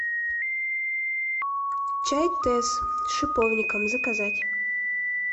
чай тесс с шиповником заказать